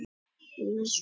Helstu fundarstaðir eru í